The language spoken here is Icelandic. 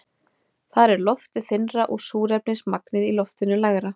Þar er loftið þynnra og súrefnismagnið í loftinu lægra.